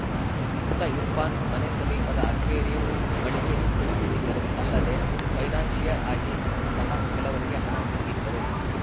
ಮೃತ ಇರ್ಫಾನ್‌ ಮನೆ ಸಮೀಪದ ಅಕ್ವೇರಿಯಂ ಮಳಿಗೆ ಹೊಂದಿದ್ದರು ಅಲ್ಲದೆ ಫೈನಾನ್ಸ್‌ಶಿಯರ್‌ ಆಗಿ ಸಹ ಕೆಲವರಿಗೆ ಹಣ ಕೊಟ್ಟಿದ್ದರು